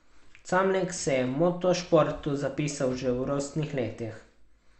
Camlek se je motošportu zapisal že v rosnih letih.